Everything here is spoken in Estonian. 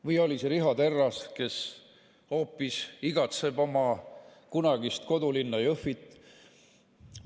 Või oli see Riho Terras, kes igatseb oma kunagist kodulinna Jõhvit?